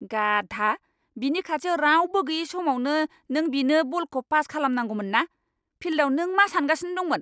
गाधा। बिनि खाथियाव रावबो गैयै समावनो नों बिनो बलखौ पास खालामनांगौमोनना। फिल्दआव नों मा सान्गासिनो दंमोन?